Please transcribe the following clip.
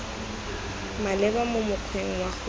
maleba mo mokgweng wa go